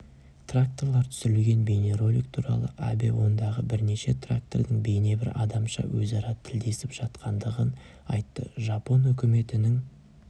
тракторлар түсірілген бейнеролик туралы абэ ондағы бірнеше трактордың бейнебір адамша өзара тілдесіп жатқандығын айтты жапон үкіметінің